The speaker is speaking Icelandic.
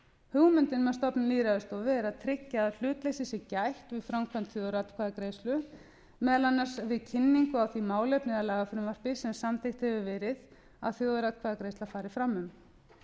hugmyndin með stofnun lýðræðisstofu er að tryggja að hlutleysis sé gætt við framkvæmd þjóðaratkvæðagreiðslu meðal annars við kynningu á því málefni eða lagafrumvarpi sem samþykkt hefur verið að þjóðaratkvæðagreiðsla fari fram um